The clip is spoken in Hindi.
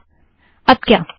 ठीक है अब क्या